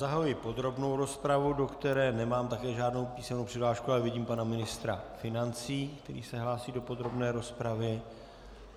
Zahajuji podrobnou rozpravu, do které nemám také žádnou písemnou přihlášku, ale vidím pana ministra financí, který se hlásí do podrobné rozpravy.